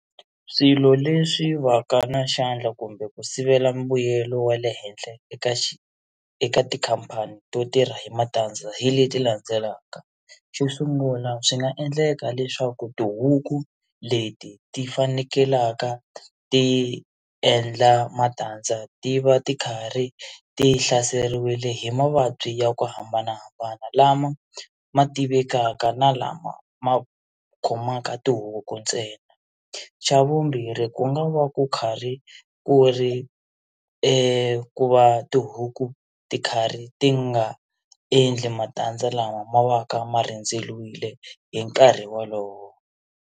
Swilo leswi va ka na xandla kumbe ku sivela mbuyelo wa le henhla eka eka xi tikhampani to tirha hi matandza hi leti landzelaka xo sungula swi nga endleka leswaku tihuku leti ti fanekelaka ti endla matandza ti va ti karhi ti hlaseliwile hi mavabyi ya ku hambanahambana lama ma tivekaka na lama ma ku khomaka tihuku ntsena xa vumbirhi ku nga va ku karhi ku ri ku va tihuku ti karhi ti nga endli matandza lama ma va ka ma rindzeriwile hi nkarhi wolowo.